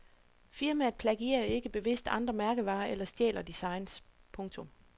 Firmaet plagierer ikke bevidst andre mærkevarer eller stjæler designs. punktum